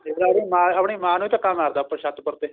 ਦੇਖਲਾ ਆਪਣੀ ਮਾਂ ਆਪਣੀ ਮਾਂ ਨੂੰ ਧੱਕਾ ਮਾਰਤਾ ਆਪਣੀ ਛੱਤ ਉੱਪਰ ਤੇ